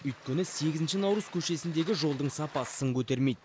өйткені сегізінші наурыз көшесіндегі жолдың сапасы сын көтермейді